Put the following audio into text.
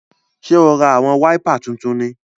Ṣe o rá awọn waipà títún ní?